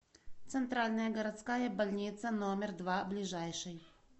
центральная городская больница номер два ближайший